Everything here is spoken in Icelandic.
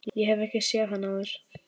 Ég hef ekki séð hann áður.